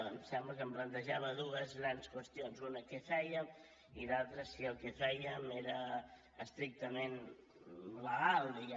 em sembla que em plantejava dues grans qüestions una què fèiem i l’altra si el que fèiem era estrictament legal diguem ne